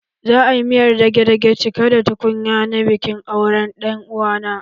Za a yi miyar dage-dage cike da tukunya na bikin auren ɗan uwa na.